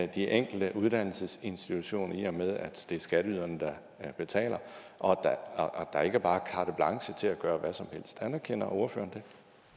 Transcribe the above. de enkelte uddannelsesinstitutioner i og med at det er skatteyderne der betaler og der ikke bare er carte blanche til at gøre hvad som helst anerkender ordføreren det